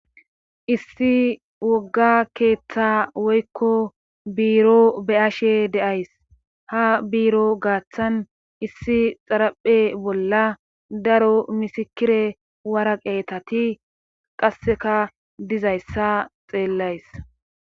issi wogga keeththa woykko biiro be'ashe de'ays ha biiro gaaththan issi xaraphe bolla daro misikire waraqeetati qasseka dizayssa xeellays